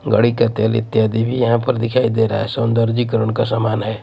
गाड़ी का तेल इत्यादि भी यहां पर दिखाई दे रहा है। सौंदर्दीकरण का समान है।